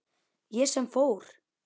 Ég sem fór.